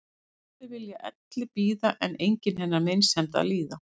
Allir vilja elli bíða en enginn hennar meinsemd að líða.